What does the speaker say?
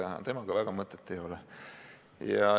Aga temaga diskuteerida väga mõtet ei ole.